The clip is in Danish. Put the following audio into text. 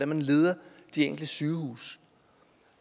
man leder de enkelte sygehuse